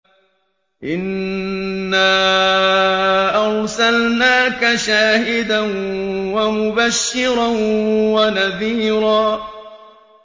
إِنَّا أَرْسَلْنَاكَ شَاهِدًا وَمُبَشِّرًا وَنَذِيرًا